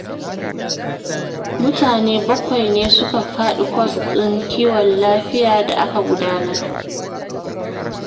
Mutane bakwai ne suka faɗi kwas ɗin kiwon lafiya da aka gudanar